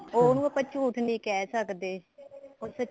ਉਹਨੂੰ ਆਪਾਂ ਝੂਠ ਨੀ ਕਹਿ ਸਕਦੇ ਉਹ